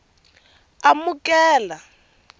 amukela